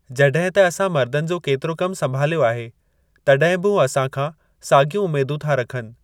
जड॒हिं त असां मर्दनि जो केतिरो कम संभाल्यो आहे तड॒हिं बि हू असां खां सागि॒यूं उमेदूं था रखनि।